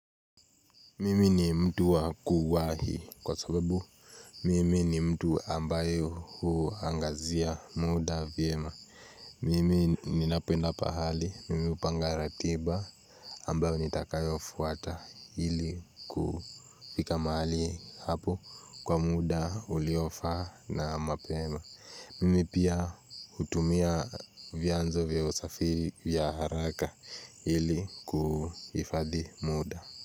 Mimi ni mtu wa kuwahi kwa sababu Mimi ni mtu ambayo huangazia muda vyema Mimi ni napenda pahali, mimi upanga ratiba ambayo nitakayo fuata ili kufika mahali hapo kwa muda uliofaa na mapema Mimi pia utumia vyanzo vya usafiri vya haraka hili kuhifadhi muda.